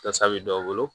Gasa bɛ dɔw bolo